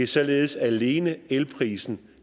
således alene elprisen